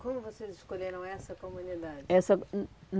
Como vocês escolheram essa comunidade? Essa, hum